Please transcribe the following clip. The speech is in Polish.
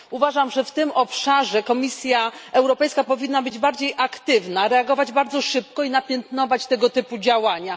Uważam, że w tym obszarze Komisja Europejska powinna być bardziej aktywna, reagować bardzo szybko i piętnować tego typu zachowania.